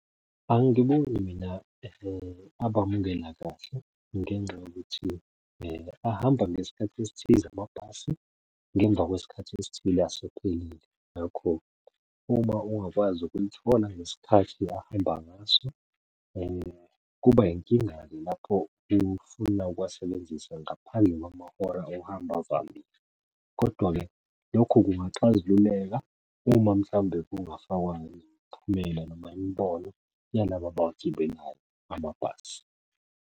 Angiboni mina abamukela kahle ngenxa yokuthi ahamba ngesikhathi esithize amabhasi, ngemva kwesikhathi esithile asephelile. Ngakho-ke, uma ungakwazi ukulithola ngesikhathi ahamba ngaso, kuba yinkinga-ke lapho ufuna ukuwasebenzisa ngaphandle kwamahora okuhamba avamile, kodwa-ke lokhu kungaxazululeka uma mhlawumbe kungafakwa nemiphumela noma imibono yalabo abawagibelayo amabhasi.